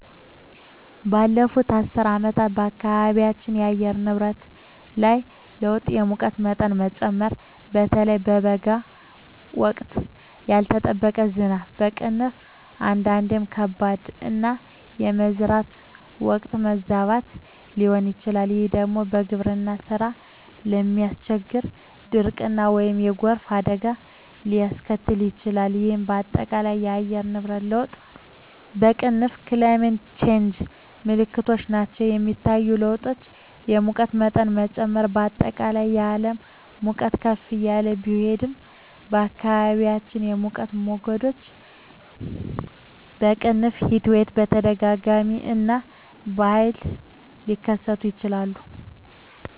ባለፉት አስርት ዓመታት በአካባቢያችን የአየር ንብረት ላይ ለውጥ የሙቀት መጠን መጨመር (በተለይ በበጋ ወቅት)፣ ያልተጠበቀ ዝናብ (አንዳንዴም ከባድ)፣ እና የመዝራት ወቅት መዛባት ሊሆን ይችላል፤ ይህ ደግሞ የግብርና ሥራን በማስቸገር ድርቅን ወይም የጎርፍ አደጋን ሊያስከትል ይችላል፣ ይህም በአጠቃላይ የአየር ንብረት ለውጥ (Climate Change) ምልክቶች ናቸው. የሚታዩ ለውጦች: የሙቀት መጠን መጨመር: በአጠቃላይ የዓለም ሙቀት ከፍ እያለ ቢሄድም፣ በአካባቢዎም የሙቀት ሞገዶች (Heatwaves) በተደጋጋሚ እና በኃይል ሊከሰቱ ይችላሉ.